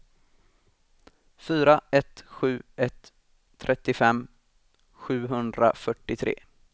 fyra ett sju ett trettiofem sjuhundrafyrtiotre